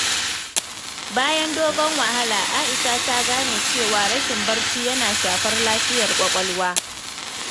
Bayan dogon wahala, Aisha ta gane cewa rashin barci yana shafar lafiyar kwakwalwa.